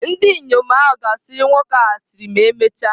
Ndị inyom ahụ ga-asịrị nwoke ahụ asịrị ma emechaa.